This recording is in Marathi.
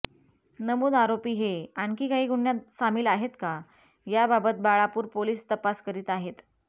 नमूद आरोपी हे आणखी काही गुन्ह्यात सामील आहेत का याबाबत बाळापूर पोलिस तपास करीत आहेत